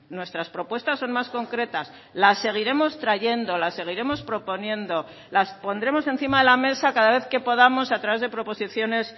nuestras propuestas son más concretas las seguiremos trayendo las seguiremos proponiendo las pondremos encima de la mesa cada vez que podamos a través de proposiciones